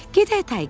Gedək Tayger.